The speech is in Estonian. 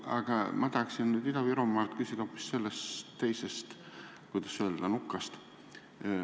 Aga ma tahaksin nüüd Ida-Virumaa inimesena küsida hoopis teisest, kuidas öelda, nukast.